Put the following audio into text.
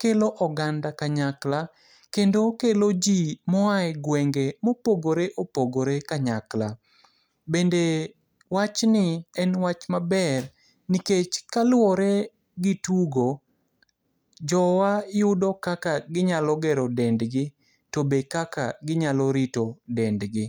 kelo oganda kanyakla kendo kelo ji moaye gwenge mopogore opogore kanyakla. Bende wachni en wach maber nikech kaluore gi tugo, jowa yudo kaka ginyalo gero dendgi, to be kaka ginyalo rito dendgi.